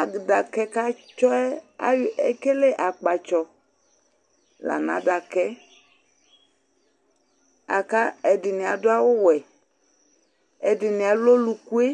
Adaka katsɔ yɛ ɔlɛ mɔsɩ Akɛdinɩ adʊ awʊ wɛ, ɛdɩnɩ alʊ ɔlʊkʊe